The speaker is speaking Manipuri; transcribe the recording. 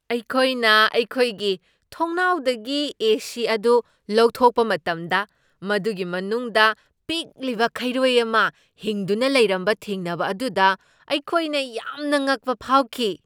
ꯑꯩꯈꯣꯏꯅ ꯑꯩꯈꯣꯏꯒꯤ ꯊꯣꯡꯅꯥꯎꯗꯒꯤ ꯑꯦꯁꯤ ꯑꯗꯨ ꯂꯧꯊꯣꯛꯄ ꯃꯇꯝꯗ, ꯃꯗꯨꯒꯤ ꯃꯅꯨꯡꯗ ꯄꯤꯛꯂꯤꯕ ꯈꯩꯔꯣꯏ ꯑꯃ ꯍꯤꯡꯗꯨꯅ ꯂꯩꯔꯝꯕ ꯊꯦꯡꯅꯕ ꯑꯗꯨꯗ ꯑꯈꯣꯏꯅ ꯌꯥꯝꯅ ꯉꯛꯄ ꯐꯥꯎꯈꯤ ꯫